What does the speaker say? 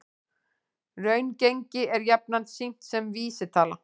Raungengi er jafnan sýnt sem vísitala